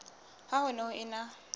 ha ho ne ho ena